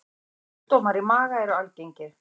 Sjúkdómar í maga eru algengir.